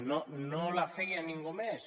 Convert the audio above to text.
no no la feia ningú més